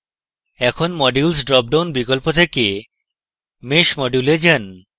এখন modules drop down বিকল্প থেকে mesh module যান